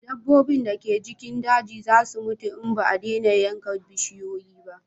Dabbobi da ke cikin daji za su mutu in ba a dena yanka bishiyoyi ba